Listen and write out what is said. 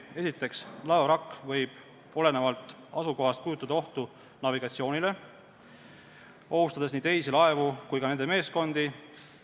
Esiteks, laevavrakk võib olenevalt asukohast kujutada ohtu navigatsioonile, ohustades nii teisi laevu kui ka nende meeskondi.